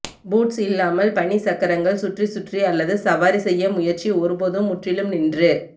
boots இல்லாமல் பனி சக்கரங்கள் சுற்றி சுற்றி அல்லது சவாரி செய்ய முயற்சி ஒருபோதும் முற்றிலும் நின்று